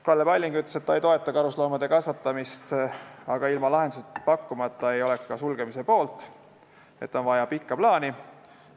Kalle Palling ütles, et ta ei toeta karusloomade kasvatamist, aga kui lahendust ei pakuta, siis ei ole ta ka kasvanduste sulgemise poolt, on vaja pikka plaani.